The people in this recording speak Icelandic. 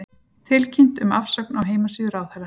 Tilkynnt um afsögn á heimasíðu ráðherra